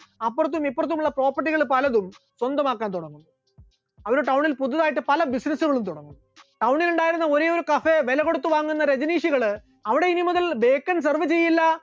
അപ്പുറത്തും ഇപ്പുറത്തുമുള്ള property കൾ പലതും സ്വന്തമാക്കാൻ തുടങ്ങുന്നു, അവരുടെ town ൽ പുതുതായിട്ട് പല business കളും തുടങ്ങി, town ൽ ഉണ്ടായിരുന്ന ഒരേയൊരു cafe വിലകൊടുത്തുവാങ്ങുന്ന രജനീഷുകൾ അവിടെ ഇനി മുതൽ bacon serve ചെയ്യില്ല